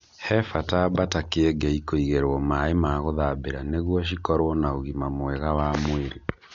He bata mbata kĩengei kũigĩrwo maaĩ ma gũthambĩra nigũo cikorwo na ũgima mwega wa mwĩrĩ.